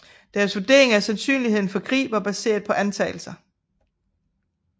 Deres vurderinger af sandsynligheden for krig var baseret på antagelser